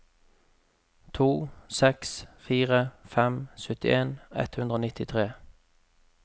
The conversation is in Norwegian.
to seks fire fem syttien ett hundre og nittitre